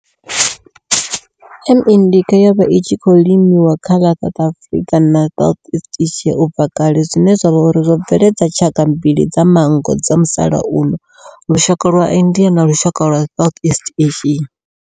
M. indica yo vha i tshi khou limiwa kha ḽa South na South east Asia ubva kale zwine zwa vha uri zwo bveledza tshaka mbili dza manngo dza musalauno lushaka lwa India na lushaka lwa Southeast Asia.